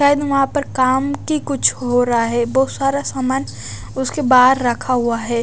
वहां पर काम की कुछ हो रहा है बहुत सारा सामान उसके बाहर रखा हुआ है।